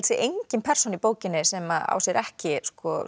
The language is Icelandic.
sé engin persóna í bókinni sem á sér ekki